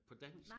På dansk